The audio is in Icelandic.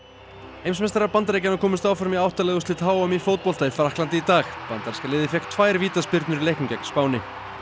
heimsmeistarar Bandaríkjanna komust áfram í átta liða úrslit h m í fótbolta í Frakklandi í dag bandaríska liðið fékk tvær vítaspyrnur í leiknum gegn Spáni